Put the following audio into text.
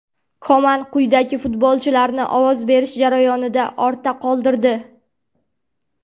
Koman quyidagi futbolchilarni ovoz berish jarayonida ortda qoldirdi: !